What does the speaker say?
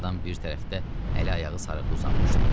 Ağadan bir tərəfdə əli-ayağı sarıqlı uzanmışdı.